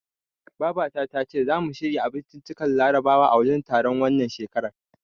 Baba ta tace zamu shirya abinciccikan larabawa a wajen taron, wannan shekarar.